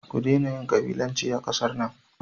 Ku daina yin kabilanci a kasar nan.